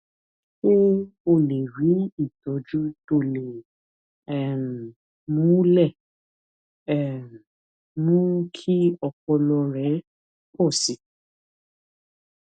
ṣé o lè rí ìtójú tó lè um mú lẹ̀ um mú kí ọpọlọ rẹ̀ pò sí i